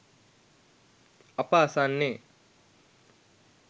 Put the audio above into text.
අප අසන්නේ